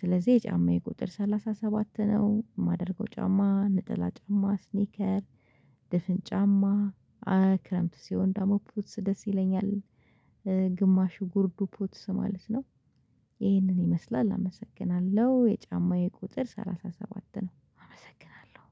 ስለዚህ የጫማዬ ቁጥር ሰላሳ ሰባት ነው የማደርገው። ጫማ ነጠላ ጫማ ስኒከር ድፍን ጫማ ክረምት ሲሆን ደግሞ ፖትስ ደስ ይለኛል። ግማሹ ጉርዱ ፖትስ ማለት ነው። ይሄንን ይመስላል አመሰግናለሁ የጫማዬ ቁጥር ሰላሳ ሰባት ነው አመሰግናለሁ